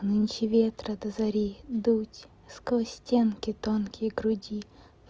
нынче ветры до зари дуть сквозь стенки тонкие груди